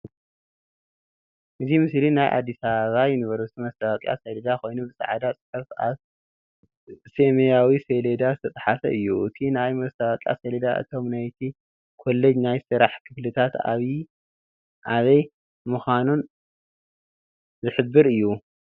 እዚ ምስሊ ናይ አዲስ አበባ ዩኒቨርሲቲ ማስታወቅያ ሰሌዳ ኮይኑ ብፃዕዳ ፅሑፍ አብ ሰማያዊ ሰሌዳ ዝተፀሓፈ እዩ፡፡ እቲ ናይ ማስታወቅያ ሰሌዳ እቶም ናይቲ ኮሌጅ ናይ ስራሕ ክፍሊታት አበይ አበይ ምኳኖም ዝሕብር እዩ፡፡